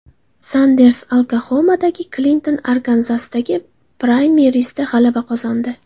Sanders Oklaxomadagi, Klinton Arkanzasdagi praymerizda g‘alaba qozondi.